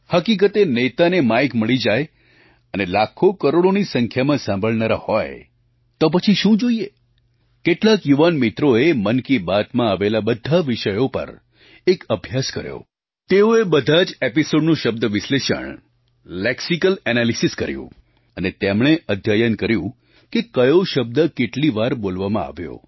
હકીકતે નેતાને માઇક મળી જાય અને લાખોકરોડોની સંખ્યામાં સાંભળનારા હોય તો પછી શું જોઈએ કેટલાક યુવાન મિત્રોએ મન કી બાતમાં આવેલા બધા વિષયો પર એક અભ્યાસ કર્યો તેઓએ બધાં જ એપિસોડનું શબ્દ વિશ્લેષણ લેક્સિકલ એનાલિસિસ કર્યું અને તેમણે અધ્યયન કર્યું કે કયો શબ્દ કેટલી વાર બોલવામાં આવ્યો